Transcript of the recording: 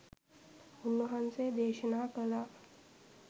උන්වහන්සේ දේශනා කළා